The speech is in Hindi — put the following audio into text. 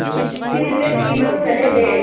फिर वे तीनों चले गए